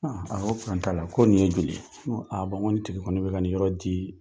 A ko t'a la ko nin ye joli ye, n ko ni tigi kɔɔni bɛ ka nin yɔrɔ di